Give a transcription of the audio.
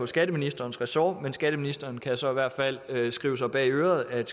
skatteministerens ressort men skatteministeren kan så i hvert fald skrive sig bag øret at